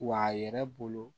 Wa a yɛrɛ bolo